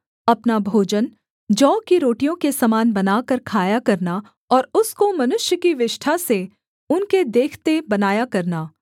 अपना भोजन जौ की रोटियों के समान बनाकर खाया करना और उसको मनुष्य की विष्ठा से उनके देखते बनाया करना